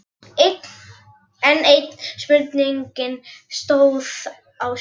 Enn ein spurningin stóð á sér.